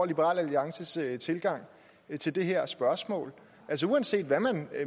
liberal alliances tilgang til det her spørgsmål altså uanset hvad man